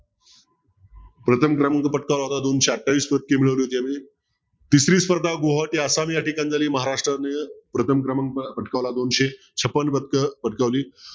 प्रथम क्रमांक पटकवला होता एकशे अठ्ठावीस पदके मिळवली होती तिसरी स्पर्धा गोहोटी आसाम या ठिकाणी झाली महाराष्ट्राने प्रथम क्रमांक पटकावला दोनशे छप्पन पदक पदकावली